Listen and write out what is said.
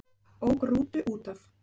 Ók rútu útaf